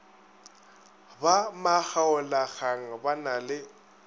ba makgaolakgang ba na le